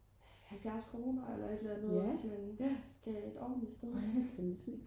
70 kroner eller et eller andet hvis man skal et ordentligt sted hen